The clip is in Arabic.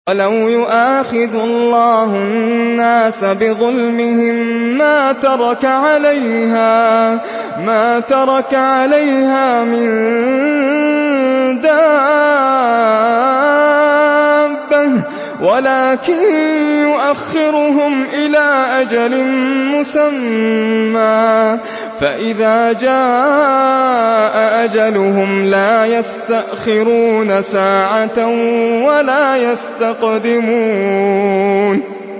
وَلَوْ يُؤَاخِذُ اللَّهُ النَّاسَ بِظُلْمِهِم مَّا تَرَكَ عَلَيْهَا مِن دَابَّةٍ وَلَٰكِن يُؤَخِّرُهُمْ إِلَىٰ أَجَلٍ مُّسَمًّى ۖ فَإِذَا جَاءَ أَجَلُهُمْ لَا يَسْتَأْخِرُونَ سَاعَةً ۖ وَلَا يَسْتَقْدِمُونَ